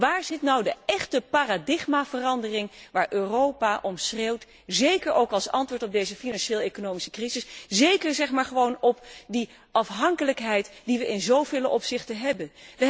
Waar zit nu de echte paradigmaverandering waar Europa om schreeuwt, zeker ook als antwoord op deze financieel economische crisis en als antwoord op de afhankelijkheid die we in zoveel opzichten hebben?